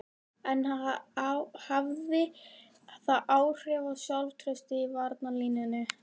En hafði það áhrif á sjálfstraustið í varnarlínunni?